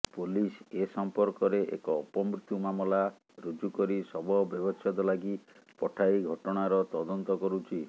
police ଏସମ୍ପର୍କରେ ଏକ ଅପମୃତ୍ୟୁ ମାମଲା ରୁଜୁ କରି ଶବ ବ୍ୟବଛେଦ ଲାଗି ପଠାଇ ଘଟଣାର ତଦନ୍ତ କରୁଛି